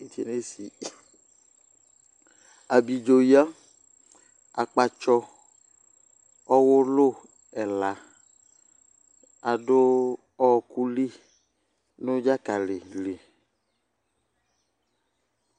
Abiɖzo ƴǝ,aƙpatsɔ, ɔwʋlʋ ɛla aɖʋ ɔƙʋ li nʋ ɖzaƙalɩ li